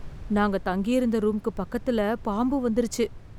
நாங்க தங்கிருந்த ரூம்க்கு பக்கத்துல பாம்பு வந்திருச்சு.